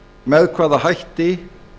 með hvaða hætti